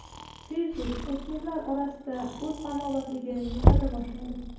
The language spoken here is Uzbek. Facebook o‘smirlar orasida o‘z ommabopligini yo‘qota boshladi.